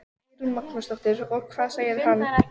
Eyrún Magnúsdóttir: Og hvað segir hann?